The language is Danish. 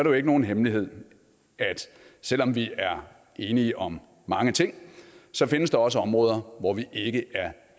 jo ikke nogen hemmelighed at selv om vi er enige om mange ting findes der også områder hvor vi ikke er